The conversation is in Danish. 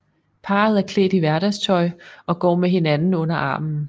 Parret er klædt i hverdagstøj og går med hinanden under armen